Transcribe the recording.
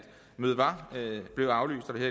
mødet var blevet aflyst og det